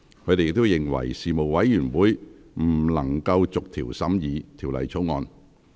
他們認為，事務委員會不能逐條審議《條例草案》。